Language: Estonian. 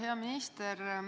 Hea minister!